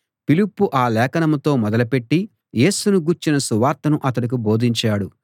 ఫిలిప్పు ఆ లేఖనంతో మొదలుపెట్టి యేసును గూర్చిన సువార్తను అతనికి బోధించాడు